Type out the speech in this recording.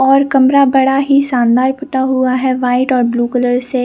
और कमरा बड़ा ही शानदार पुटा हुआ है वाइट और ब्लू कलर से--